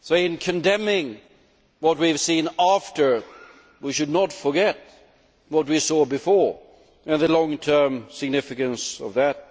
So in condemning what we have seen after, we should not forget what we saw before and the long term significance of that.